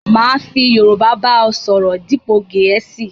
Máa fi Yorúbá ba ọ sọ̀rọ̀ dípo Gẹ̀ẹ̀síì